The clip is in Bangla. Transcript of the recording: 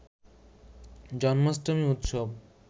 জন্মাষ্টমী উৎসব